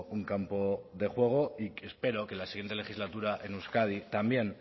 un campo de juego y espero que la siguiente legislatura en euskadi también